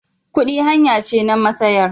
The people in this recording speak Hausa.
Kudi hanya ce na masayar.